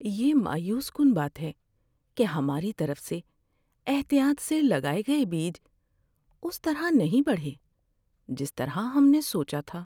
یہ مایوس کن بات ہے کہ ہماری طرف سے احتیاط سے لگائے گئے بیج اس طرح نہیں بڑھے جس طرح ہم نے سوچا تھا۔